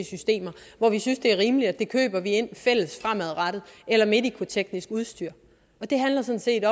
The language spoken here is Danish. systemer hvor vi synes det er rimeligt at vi køber det ind fælles fremadrettet eller medicoteknisk udstyr det handler sådan set